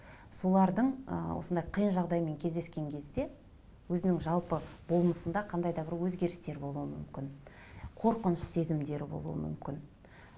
солардың ы осындай қиын жағдаймен кездескен кезде өзінің жалпы болмысында қандай да бір өзгерістер болуы мүмкін қорқыныш сезімдері болуы мүмкін